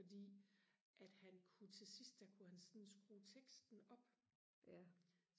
fordi at han kunne til sidst der kunne han sådan skrue teksten op